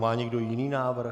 Má někdo jiný návrh?